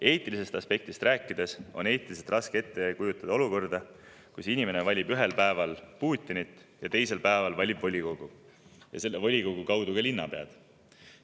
Eetilisest aspektist rääkides on raske ette kujutada olukorda, kus inimene valib ühel päeval Putinit ja teisel päeval valib volikogu ning selle volikogu kaudu ka linnapead.